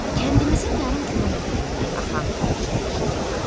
Kəndimizin yarım kilometrliyindən axan quru çay şırıqdayır.